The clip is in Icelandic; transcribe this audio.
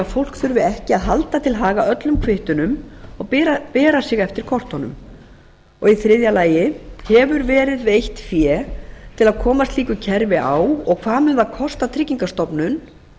að fólk þurfi ekki að halda til haga öllum kvittunum og bera sig eftir kortunum þriðji hefur verið veitt fé til að koma slíku kerfi á og hvað mun það kosta tryggingastofnun